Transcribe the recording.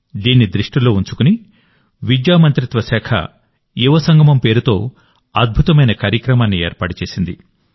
దీన్ని దృష్టిలో ఉంచుకుని విద్యా మంత్రిత్వ శాఖ యువసంగమం పేరుతో అద్భుతమైన కార్యక్రమాన్ని ఏర్పాటు చేసింది